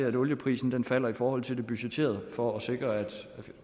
at olieprisen falder i forhold til det budgetterede for at sikre at